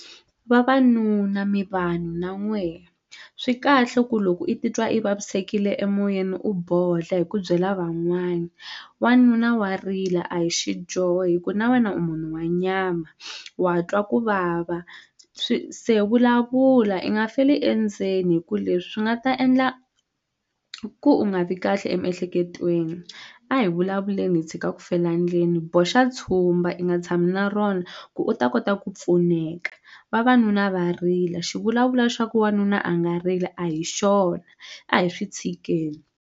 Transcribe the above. Vavanuna mi vanhu na n'wehe swikahle ku loko i titwa i vavisekile emoyeni u bodla hi ku byela van'wani wanuna wa rila a hi xidyoho hi ku na wena u munhu wa nyama wa twa ku vava swi se vulavula i nga feli endzeni hi ku leswi swi nga ta endla ku u nga vi kahle emiehleketweni a hi vulavuleni hi tshika ku fela endzeni boxa tshumba i nga tshami na rona ku u ta kota ku pfuneka vavanuna va rila xivulavula xa ku wanuna a nga rili a hi xona a hi swi tshikeni.